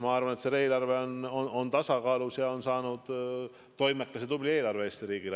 Ma arvan, et see eelarve on tasakaalus ja sellest on saanud toimekas ja tubli eelarve Eesti riigile.